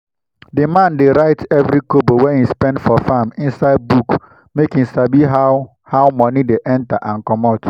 the man dey write every kobo wey e spend for farm inside book make e sabi how how money dey enter and commot.